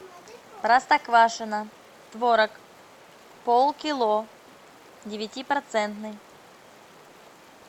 простоквашино творог полкило девяти процентный